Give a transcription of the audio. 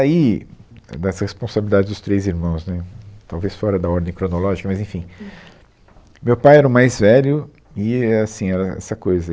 Aí, dessa responsabilidade dos três irmãos, né, talvez fora da ordem cronológica, mas, enfim, o meu pai era o mais velho e, é assim, era essa coisa.